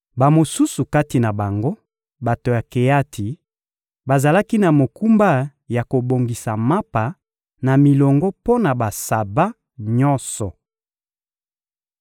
Bamosusu kati na bango, bato ya Keati, bazalaki na mokumba ya kobongisa mapa na milongo mpo na basaba nyonso.